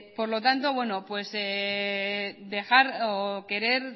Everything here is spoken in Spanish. por lo tanto pues dejar o querer